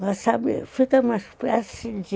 Mas, sabe, fica uma espécie de...